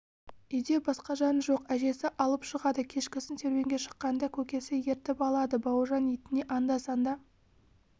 үйде басқа жан жоқ әжесі алып шығады кешкісін серуенге шыққанда көкесі ертіп алады бауыржан итіне анда-санда